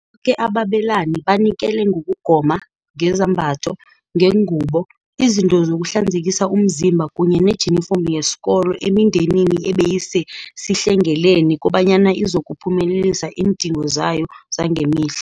Boke ababelani banikele ngokugoma, ngezambatho, ngeengubo, izinto zokuhlanzekisa umzimba kunye nangejinifomu yesikolo emindenini ebeyisesihlengeleni kobanyana izokuphumelelisa iindingo zayo zangemihla.